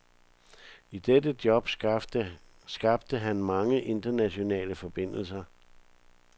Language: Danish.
I dette job skabte han mange internationale forbindelser.